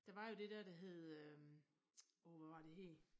Der var jo det dér der hed øh åh hvad var det det hed